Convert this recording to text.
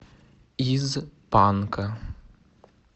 из панка